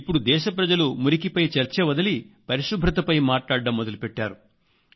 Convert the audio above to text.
ఇప్పడు దేశ ప్రజలు మురికిపై చర్చ వదిలి పరిశుభ్రతపై మాట్లాడటం మొదలు పెట్టారు